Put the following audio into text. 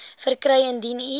verkry indien u